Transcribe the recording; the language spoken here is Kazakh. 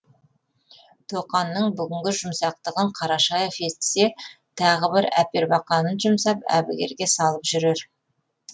тоқанның бүгінгі жұмсақтығын қарашаев естісе тағы бір әпербақанын жұмсап әбігерге салып жүрер